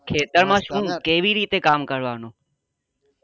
ખેતર માં શું કેવી રીતે કામ કરવા નું